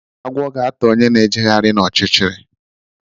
Agwo ga ata onye na-ejegharị na ọchịchịrị.